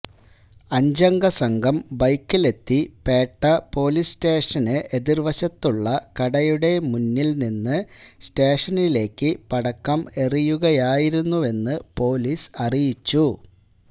അഞ്ചംഗ സംഘം ബൈക്കിലെത്തി പേട്ട പൊലീസ് സ്റ്റേഷന് എതിർവശത്തുള്ള കടയുടെ മുന്നിൽ നിന്ന് സ്റ്റേഷനിലേക്ക് പടക്കം എറിയുകയായിരുന്നുവെന്ന് പൊലീസ് അറിയിച്ചു